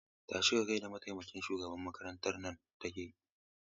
Tashi ka gaida mataimakin shugaban makarantar nan take!